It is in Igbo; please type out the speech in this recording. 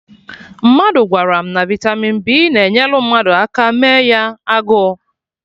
Mmadụ gwara m na vitamin B na-enyelụ mmadụ aka mee ya agụụ